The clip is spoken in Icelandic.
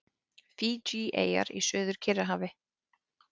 Fídjieyjar í Suður-Kyrrahafi.